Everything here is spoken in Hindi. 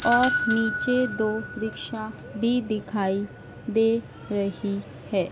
और नीचे दो रिक्शा भी दिखाई दे रही है।